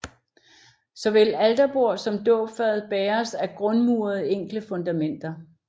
Såvel alterbord som dåbsfad bæres af grundmurede enkle fundamenter